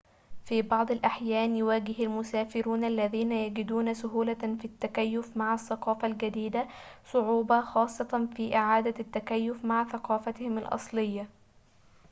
في بعض الأحيان يواجه المسافرون الذين يجدون سهولة في التكيف مع الثقافة الجديدة صعوبة خاصة في إعادة التكيف مع ثقافتهم الأصلية